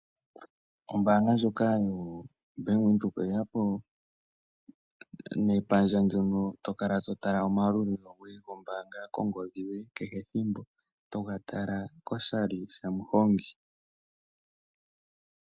Ombaanga ndjoka yo Bank Windhoek oye ya po nepandja ndjono to kala to tala omalulilo goye goombaanga kongodhi yoye kehe ethimbo to ga tala koshali shamuhongi.